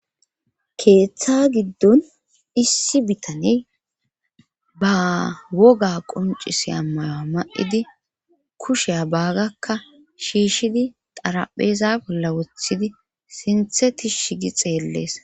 Keeththa giddon issi bitane ba woga quncisi ammayoa ma7idi kushea baagakka shiishshidi darapheeza bolla wothidi sinthe tishigi xeellees.